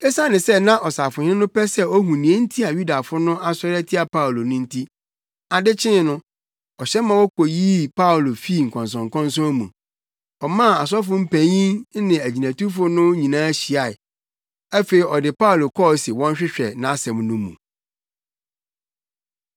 Esiane sɛ na ɔsafohene no pɛ sɛ ohu nea enti a Yudafo no asɔre atia Paulo no nti, ade kyee no, ɔhyɛ ma woyii Paulo fii nkɔnsɔnkɔnsɔn mu. Ɔmaa asɔfo mpanyin ne agyinatufo no nyinaa hyiae. Afei ɔde Paulo kɔɔ se wɔnhwehwɛ nʼasɛm no mu.